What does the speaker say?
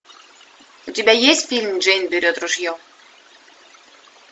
у тебя есть фильм джейн берет ружье